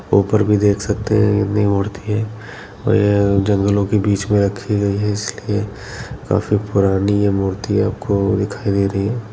उपर भी देख सकते है कितनी मूर्ती है और ये जंगलो के बीच मे रखी गई है इसलिए काफी पुरानी ये मूर्ती आपको दिखाई दे रही है।